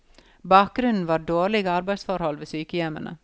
Bakgrunnen var dårlige arbeidsforhold ved sykehjemmene.